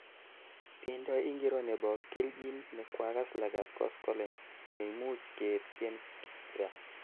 tiendo ingiro nebo keljin ne kwakass lagat koskoleny neimuch ketien kira